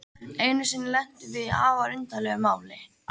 Einu sinni lentum við í afar undarlegu máli.